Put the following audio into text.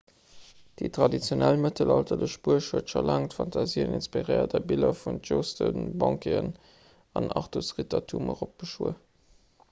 déi traditionell mëttelalterlech buerg huet scho laang d'fantasie inspiréiert a biller vun tjosten banqueten an artus-rittertum eropbeschwuer